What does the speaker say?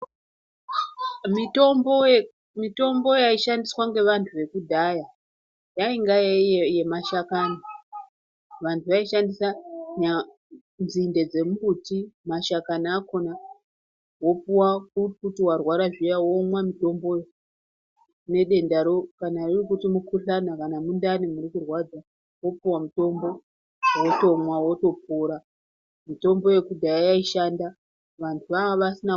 Mitombo yaishandiswa ngevanhu vekudhaya yainga yemashakani vanhu vaishandisa nzinde dzemumbuti ,mashakani akona wopuwa kuti warwara zviya womwa mutombowo nedendaro kana uri mukhuhlani kana mundani murikurwadza wopuwa mutombo wotomwa wotopora ,mitombo yekudhaya yaishanda vanhu vanga vasina....